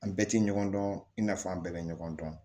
An bɛɛ tɛ ɲɔgɔn dɔn i n'a fɔ an bɛɛ bɛ ɲɔgɔn dɔn